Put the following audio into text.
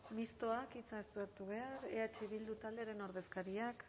mistoak ez du parte hartu behar eh bildu taldearen ordezkariak